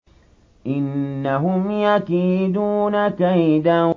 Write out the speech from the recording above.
إِنَّهُمْ يَكِيدُونَ كَيْدًا